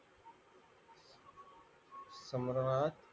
सम्रहार